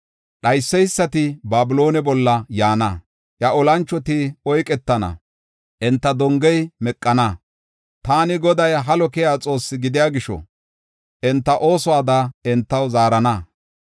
Dhayseysati Babiloone bolla yaana; iya olanchoti oyketana; enta dongey meqana. Taani Goday halo keyiya Xoosse gidiya gisho, enta oosuwada entaw zaarana.